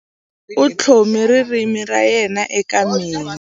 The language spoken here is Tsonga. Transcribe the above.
U tlhome ririmi ra yena eka mina.